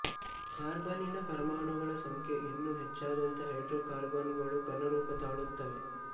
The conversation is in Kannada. ಕಾರ್ಬನ್ನಿನ ಪರಮಾಣುಗಳ ಸಂಖ್ಯೆ ಇನ್ನೂ ಹೆಚ್ಚಾದಂತೆ ಹೈಡ್ರೋಕಾರ್ಬನ್ನುಗಳು ಘನರೂಪ ತಾಳುತ್ತವೆ